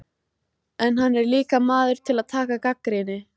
En hann er líka maður til að taka gagnrýni.